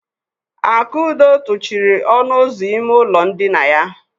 Akudo tụchiri ọnụ ụzọ ime ụlọ ndina ya.